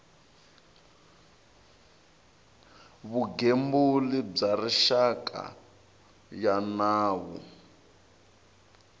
vugembuli bya rixaka ya nawu